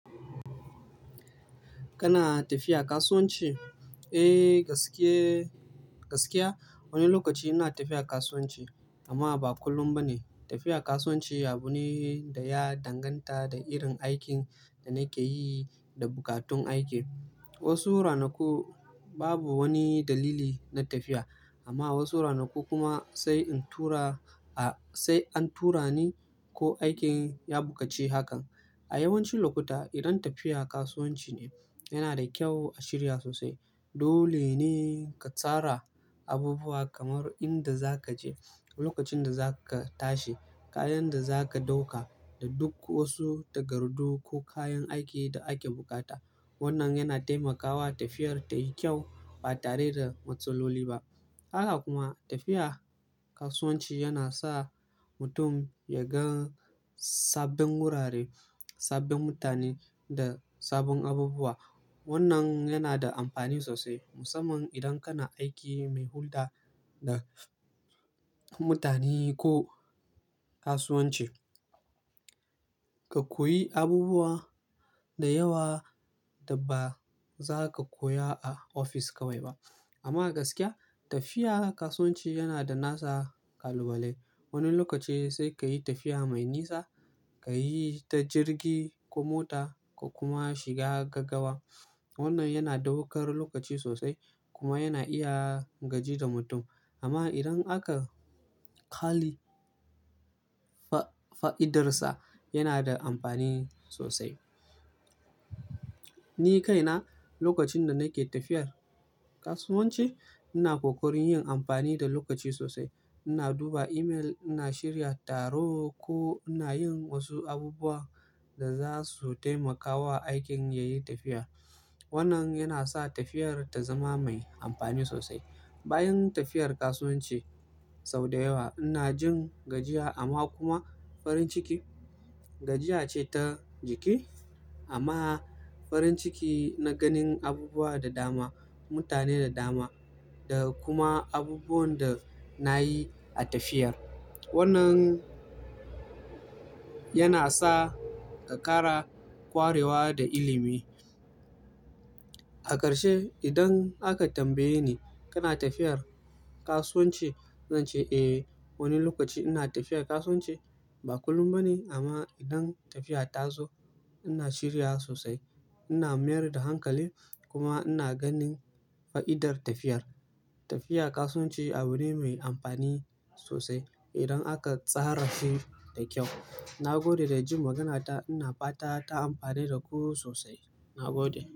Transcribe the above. Kana tafiya kasuwanci? Eh, gaske Gaskiya wani lokaci ina tafiya kasuwanci amma ba kullum ba ne. Tafiya kasuwanci abu ne da ya danganta da irin aikin da nake yi da buƙatun aiki. Wasu ranaku babu wani dalili na tafiya amma wasu ranaku kuma sai in tura a-- sai an tura ni ko aikin ya buƙaci hakan. A yawancin lokuta idan tafiya kasuwanci ne yana da kyau a shirya sosai. Dole ne ka tsara abubuwa kamar inda za ka je, lokacin da za ka tashi, kayan da za ka ɗauka da duk wasu takardu ko kayan aiki da ake bukata. Wannan yana taimakawa tafiyar tayi kyau ba tare da matsaloli ba. Haka kuma tafiya kasuwanci yana sa mutum ya gan sabbin wurare, sabbin mutane da sabbin abubuwa. Wannan yana da amfani sosai musamman idan kana aiki mai hulɗa da mutane ko kasuwanci. Ka koyi abubuwa da yawa da ba za ka koya a ofis kawai ba. Amma a gaskiya tafiya kasuwanci yana da nasa kalubalai. Wani lokaci sai ka yi tafiya mai nisa, ka yi ta jirgi ko mota ka kuma shiga gaggawa. Wannan yana ɗaukar lokaci sosai kuma yana iya gaji da mutum. Amma idan aka ƙali fa'idarsa yana da amfani sosai. Ni kaina lokacin da nake tafiyar kasuwanci ina kokarin yin amfani da lokaci sosai. Ina duba email, ina shirya taro ko ina yin wasu abubuwa da za su taimakawa aikin yayi tafiya. Wannan yana sa tafiyar ta zama mai amfani sosai. Bayan tafiyar kasuwanci sau da yawa ina jin gajiya amma kuma farin ciki. Gajiya ce ta jiki amma farin ciki na ganin abubuwa da dama, mutane da dama da kuma abubuwan da na yi a tafiyar. Wannan yana sa ka ƙara ƙwarewa da ilimi. A ƙarshe idan aka tambaye ni kana tafiyar kasuwanci? Zan ce eh, wani lokaci ina tafiyar kasuwanci. Ba kullum ba ne amma idan tafiya ta zo ina shirya sosai. Ina mayar da hankali kuma ina ganin fa'idar tafiyar. Tafiya kasuwanci abu ne mai amfani sosai idan aka tsara shi da kyau. Na gode da jin maganata. Ina fata ta amfane da ku sosai. Na gode.